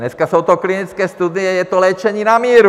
Dneska jsou to klientské studie, je to léčení na míru.